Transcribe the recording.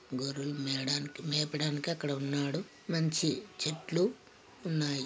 గొర్రులు మెదనికి మేపడానికి అక్కడ ఉన్నాడు మంచి చెట్లు ఉన్నాయి.